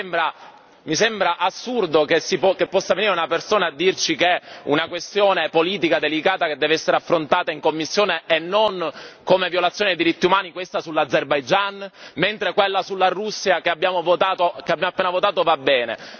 Allora, mi sembra assurdo che possa venire una persona a dirci che è una questione politica delicata, che deve essere affrontata in commissione e non come violazione dei diritti umani, questa sull'Azerbaigian, mentre quella sulla Russia, che abbiamo appena votato, va bene.